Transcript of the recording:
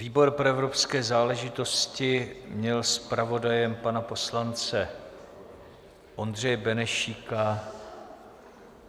Výbor pro evropské záležitosti měl zpravodajem pana poslance Ondřeje Benešíka.